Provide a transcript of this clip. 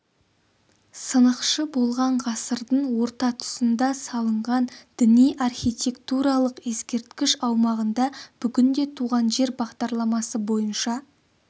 сынықшы болған ғасырдың орта тұсында салынған діни архитектуралық ескерткіш аумағында бүгінде туған жер бағдарламасы бойынша